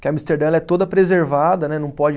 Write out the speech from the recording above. Porque Amsterdã ela é toda preservada, né? Não pode